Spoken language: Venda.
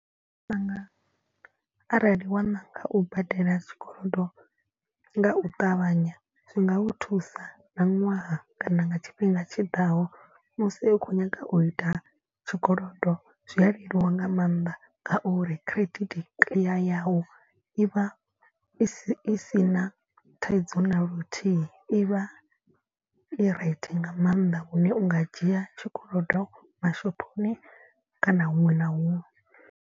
Vhanga arali wa ṋanga u badela tshikolodo nga u ṱavhanya. Zwi ngau thusa nga ṅwaha kana nga tshifhinga tshiḓaho musi u khou nyanga u ita tshikolodo zwi a leluwa nga maanḓa. Ngauri credit tea yau i vha i si i si na thaidzo na luthihi i vha i right nga maanḓa lune u nga dzhia tshikolodo mashophoni kana huṅwe na huṅwe.